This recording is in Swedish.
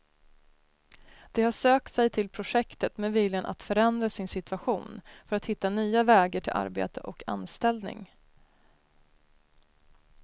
De har sökt sig till projektet med viljan att förändra sin situation för att hitta nya vägar till arbete och anställning.